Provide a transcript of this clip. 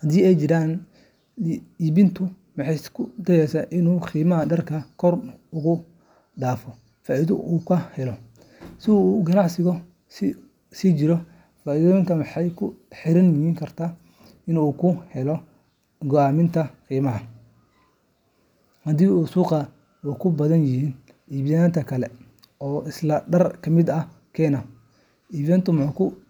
haddii ay jiraan. Iibiyuhu wuxuu isku dayaa inuu qiimaha dharka kor ugu daro faa’iido uu ka helo, si uu ganacsigiisu u sii jiro. Faa’iidadaasi waxay ku xirnaan kartaa inta suuqa lagu tartamayo iyo inta macmiil uu filayo inuu helo. Sidoo kale, tartanka suuqa ayaa saameyn toos ah ku leh go’aaminta qiimaha. Haddii suuqa ay ku badan yihiin iibiyeyaal kale oo isla dhar la mid ah keena, iibiyuhu wuxuu ku.